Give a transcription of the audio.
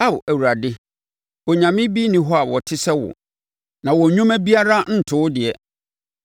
Ao Awurade, onyame bi nni hɔ a ɔte sɛ wo; na wɔn nnwuma biara nto wo deɛ.